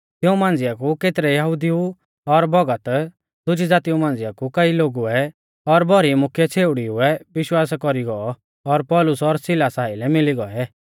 तिऊं मांझ़िया कु केतरै यहुदिऊ और भौगत दुजी ज़ातीऊ मांझिया कु कई लोगुऐ और भौरी मुख्यै छ़ेउड़ीउऐ विश्वास कौरी गौ और पौलुस और सिलासा आइलै मिली गौऐ